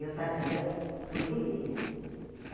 Eu fazia por viver, né?